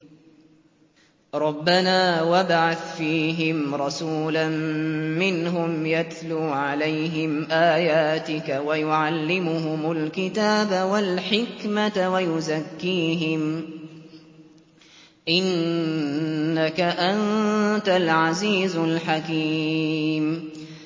رَبَّنَا وَابْعَثْ فِيهِمْ رَسُولًا مِّنْهُمْ يَتْلُو عَلَيْهِمْ آيَاتِكَ وَيُعَلِّمُهُمُ الْكِتَابَ وَالْحِكْمَةَ وَيُزَكِّيهِمْ ۚ إِنَّكَ أَنتَ الْعَزِيزُ الْحَكِيمُ